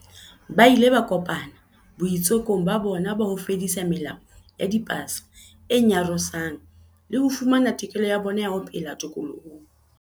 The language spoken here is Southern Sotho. Ba ile ba kopana boitsekong ba bona ba ho fedisa melao ya dipasa e nyarosang le ho fumana tokelo ya bona ya ho phela tokolohong.